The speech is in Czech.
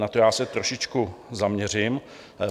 Na to já se trošičku zaměřím.